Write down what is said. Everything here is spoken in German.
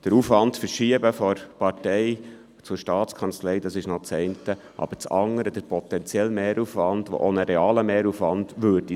Den Aufwand von der Partei zur STA zu verschieben, ist das eine, aber das andere ist der potenzielle Mehraufwand, der auch ein realer Mehraufwand wäre.